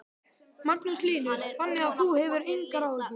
Magnús Hlynur: Þannig að þú hefur engar áhyggjur?